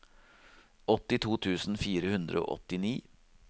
åttito tusen fire hundre og åttini